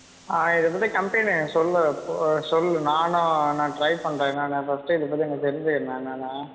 ஆஹ் இது வந்து company சொல்லு போ சொல்லு நானும் நான் try பண்றேன் என்னான்னு first இத பத்தி எனக்கு தெரிஞ்சுக்குறேன் என்னான்னு